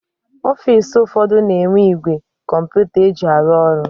Ọfisi ụfọdụ na-enwe igwe kọmputa eji arụ ọrụ.